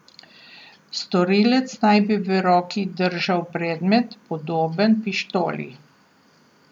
Storilec naj bi v roki držal predmet, podoben pištoli.